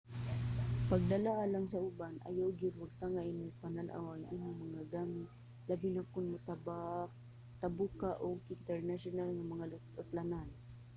pagdala alang sa uban - ayaw gyud wagtanga imong panan-aw ang imong mga gamit labi na kon motabok ka og internasyonal nga mga utlanan